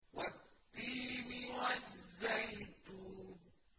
وَالتِّينِ وَالزَّيْتُونِ